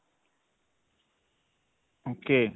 ok.